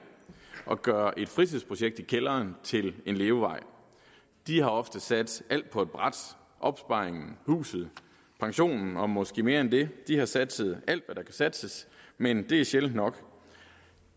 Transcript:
og gøre et fritidsprojekt i kælderen til en levevej de har ofte satset alt på ét bræt opsparingen huset pensionen og måske mere end det de har satset alt hvad der kan satses men det er sjældent nok